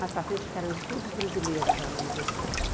Mais para frente ficaram estudos brasileiros já na universidade.